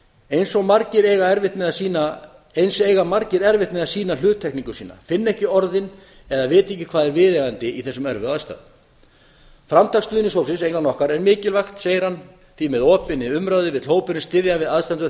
eins eiga margir erfitt með að sýna hluttekningu sína finna ekki orðin eða vita ekki hvað er viðeigandi í þessum erfiðu aðstæðum framtak stuðningshópsins innan okkar er mikilvægt segir hann því með opinni umræðu vill hópurinn styðja við aðstandendur